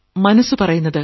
മനസ്സു പറയുന്നത്